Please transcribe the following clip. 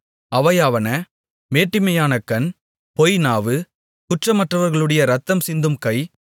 அவையாவன மேட்டிமையான கண் பொய்நாவு குற்றமற்றவர்களுடைய இரத்தம் சிந்தும் கை